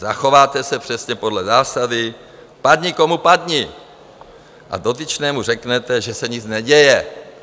Zachováte se přesně podle zásady padni komu padni a dotyčnému řeknete, že se nic neděje.